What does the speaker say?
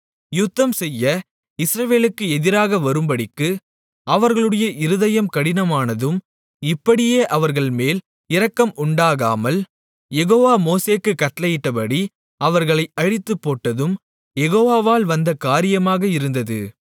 யுத்தம்செய்ய இஸ்ரவேலுக்கு எதிராக வரும்படிக்கு அவர்களுடைய இருதயம் கடினமானதும் இப்படியே அவர்கள்மேல் இரக்கம் உண்டாகாமல் யெகோவா மோசேக்குக் கட்டளையிட்டபடி அவர்களை அழித்துப்போட்டதும் யெகோவாவால் வந்த காரியமாக இருந்தது